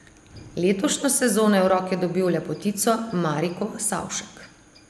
Letošnjo sezono je v roke dobil lepotico Mariko Savšek.